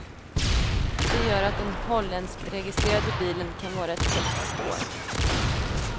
Det gör att den holländskregistrerade bilen kan vara ett hett spår.